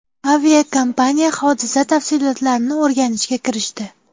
Aviakompaniya hodisa tafsilotlarini o‘rganishga kirishdi.